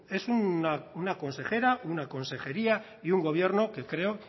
es una consejera una consejería y un gobierno que creo